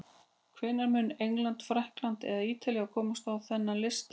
Hvenær mun England, Frakkland eða Ítalía komast á þennan lista?